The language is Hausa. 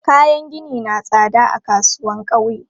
Kayan gini na tsada a kasuwan ƙauye.